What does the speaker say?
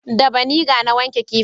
Da vaniga na wanke kifin